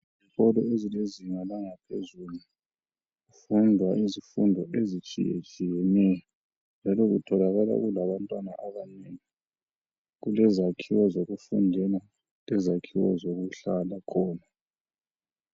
Ezikolo ezilezinga langaphezulu, kufundwa izifundo ezitshiyetshiyeneyo njalo kutholakala kulabantwana abanengi, Kulezakhiwo zokufundela lezakhiwo zokuhlala khona.